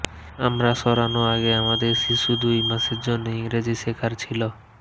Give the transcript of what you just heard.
আমরা সরানো আগে আমাদের শিশু দুই মাসের জন্য ইংরেজি শেখার ছিল